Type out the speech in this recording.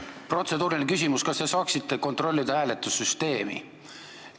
Protseduuriline küsimus: kas te saaksite kontrollida hääletussüsteemi?